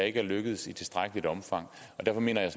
ikke er lykkedes i tilstrækkeligt omfang og derfor mener jeg